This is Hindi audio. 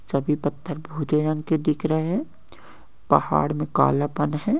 सभी पत्थर भूरे रंग के दिख रहे है पहाड़ मे काला पन है।